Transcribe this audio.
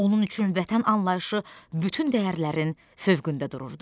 Onun üçün vətən anlayışı bütün dəyərlərin fövqündə dururdu.